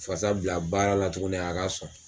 Fasa bila baara la tuguni a ka sɔn.